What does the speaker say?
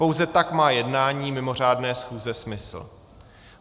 Pouze tak má jednání mimořádné schůze smysl.